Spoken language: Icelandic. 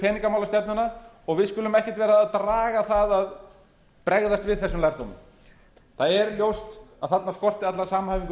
peningamálastefnuna og við skulum ekkert vera að draga það að bregðast við þessum lærdómi það er ljóst að þarna skorti alla samhæfingu